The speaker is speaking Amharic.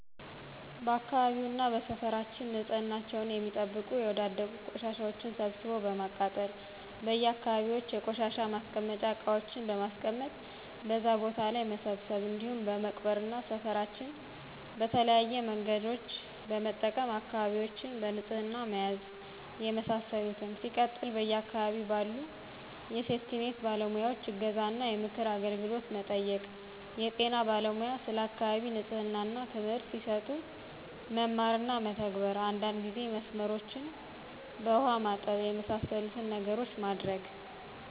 በአካባቢውና በሰፈራችን ንፅህናቸውን የሚጠብቁ የወዳደቁ ቆሻሻዎችን ሰብስቦ በማቃጠል: በየ አካባቢዎች የቆሻሻ ማስቀመጫ እቃዎችን በማስቀመጥ በዛ ቦታ ላይ መሰብሰብ እንዲሁም በመቅበር እና ሰፍራችን በተለያዬ መንገዶችን በመጠቀም አካባቢዎችን በንፅህና መያዝ የመሳሰሉትን። ሲቀጥል በየ አካባቢው ባሉ የሴፍቲኒት ባለሙያዎይ እገዛ እና የምክር አገልግሎት መጠየቅ። የጤና ባለሙያ ስለ አካባቢ ንፅህና ትምህርት ሲሰጡ መማር እና መተግበር። አንዳንድ ጊዜ መስመሮችን በውሃ ማጠብ። የመሳሰሉትን ነገሮች ማድረግ